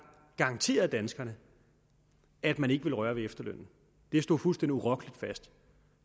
garanteret danskerne at man ikke ville røre ved efterlønnen det stod fuldstændig urokkeligt fast